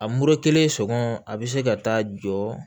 A mori kelen sɔgɔ a bi se ka taa jɔ